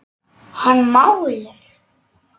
Hann málar.